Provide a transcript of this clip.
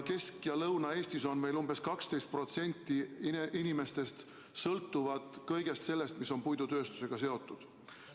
Kesk‑ ja Lõuna-Eestis umbes 12% inimestest sõltuvad kõigest sellest, mis on puidutööstusega seotud.